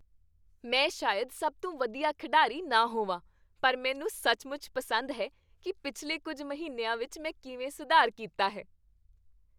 ਮੈਂ ਸ਼ਾਇਦ ਸਭ ਤੋਂ ਵਧੀਆ ਖਿਡਾਰੀ ਨਾ ਹੋਵਾਂ ਪਰ ਮੈਨੂੰ ਸੱਚਮੁੱਚ ਪਸੰਦ ਹੈ ਕੀ ਪਿਛਲੇ ਕੁੱਝ ਮਹੀਨਿਆਂ ਵਿੱਚ ਮੈਂ ਕਿਵੇਂ ਸੁਧਾਰ ਕੀਤਾ ਹੈ।